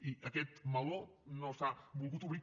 i aquest meló no s’ha volgut obrir